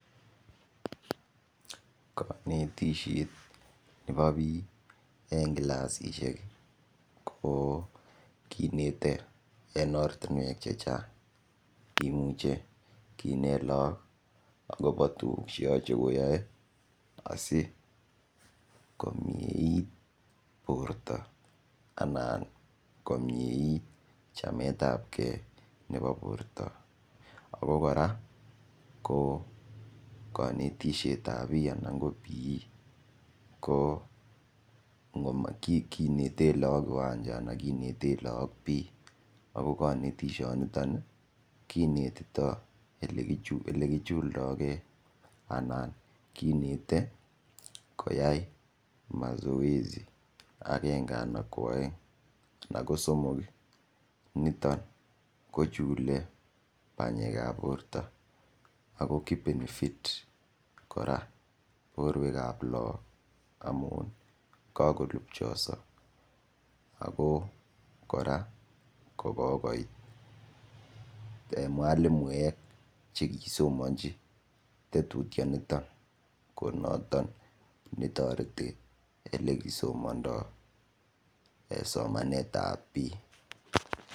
Kanetishet Nebo bik en clasishek ko kinete en oratinwek chechang imuche Kinet logok akoba tuguk cheyache koyae asikomyeit borta anan komyeit chamet ab gei koburto akokoraa ko kanetishet ab sang anan ko p ekomakinetenblogok kiwancha anan kineten lagok bee ako kanetishoniton kinetito olekichuldo gei anan kinete koyai masoesi agenge anan kwaeng anan ko somok niton ko chule banyek ab borta akokibeni fit koraa borwek ab logok amun kakolubchaso ako koraa kokoit mwalimuek chekisomanchi tetutyet niton konoton netareti olekisomondi en somanet ab bik